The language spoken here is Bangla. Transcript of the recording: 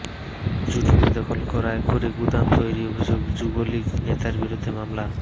জুট মিল দখল করে গুদাম তৈরির অভিযোগে যুবলীগ নেতার বিরুদ্ধে মামলা